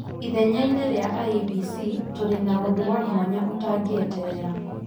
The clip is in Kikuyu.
Ithenya-inĩ rĩa IEBC, tũrĩ na ũndũ wa mwanya ũtangiĩterera